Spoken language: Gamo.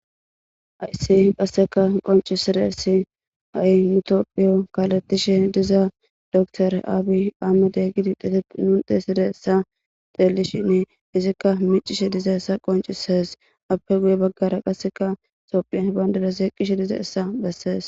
Haysi qasseka qoncisirayssi ha'i tophphiyo kalattishe dizaa doktore aabi aamede gidi nun teysidassa xeelishinne izikka miicishshe dizayssa qoncisees appe guye baggara qasseka tophphiya bandndirazi eqiishe dizayssa bessees